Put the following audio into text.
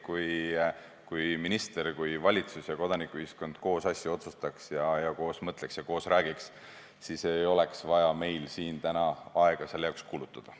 Kui minister, valitsus ja kodanikuühiskond koos asju otsustaks ja koos mõtleks ja koos räägiks, siis poleks meil vaja täna siin selle peale aega kulutada.